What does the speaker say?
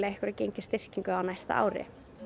einhverja gengisstyrkingu á næsta ári